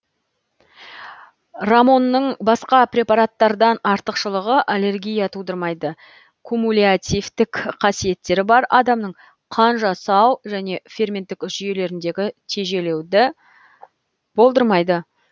рамонның басқа препараттардан артықшылығы аллергия тудырмайды кумулятивтік қасиеттері бар адамның қан жасау және ферменттік жүйелеріндегі тежелуді болдырмайды